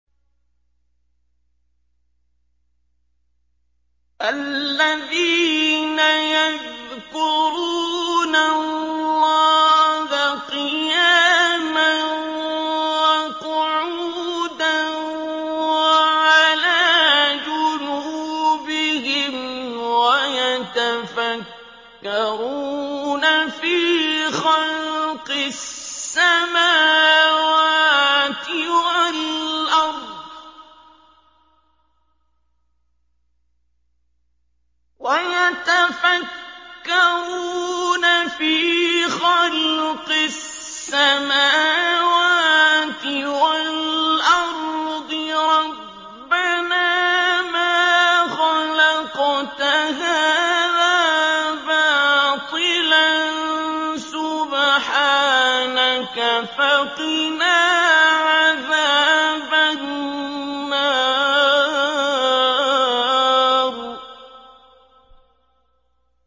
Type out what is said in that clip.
الَّذِينَ يَذْكُرُونَ اللَّهَ قِيَامًا وَقُعُودًا وَعَلَىٰ جُنُوبِهِمْ وَيَتَفَكَّرُونَ فِي خَلْقِ السَّمَاوَاتِ وَالْأَرْضِ رَبَّنَا مَا خَلَقْتَ هَٰذَا بَاطِلًا سُبْحَانَكَ فَقِنَا عَذَابَ النَّارِ